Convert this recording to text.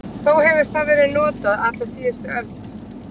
Þó hefur það verið notað alla síðustu öld.